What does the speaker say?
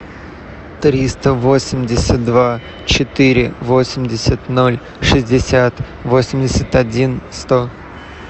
триста восемьдесят два четыре восемьдесят ноль шестьдесят восемьдесят один сто